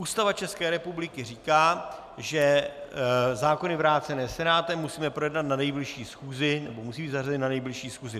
Ústava České republiky říká, že zákony vrácené Senátem musíme projednat na nejbližší schůzi, nebo musí být zařazeny na nejbližší schůzi.